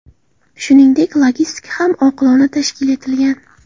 Shuningdek, logistika ham oqilona tashkil etilgan.